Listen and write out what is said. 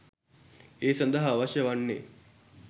ඒ සඳහා අවශ්‍ය වන්නේ